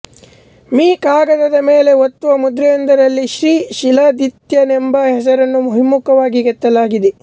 me ಕಾಗದದ ಮೇಲೆ ಒತ್ತುವ ಮುದ್ರೆಯೊಂದರಲ್ಲಿ ಶ್ರೀ ಶೀಲಾದಿತ್ಯನೆಂಬ ಹೆಸರನ್ನು ಹಿಮ್ಮುಖವಾಗಿ ಕೆತ್ತಲಾಗಿದೆ